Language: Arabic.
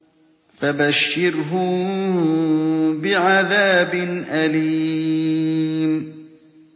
فَبَشِّرْهُم بِعَذَابٍ أَلِيمٍ